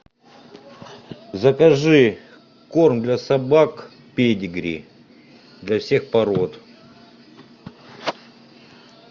закажи корм для собак педигри для всех пород